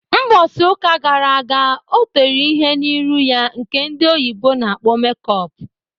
Mbosi uka gara aga o tere ihe n'iru ya nke ndị oyibo na-akpọ make up.